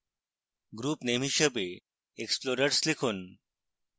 group name হিসাবে explorers লিখুন